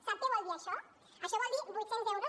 sap què vol dir això això vol dir vuit cents euros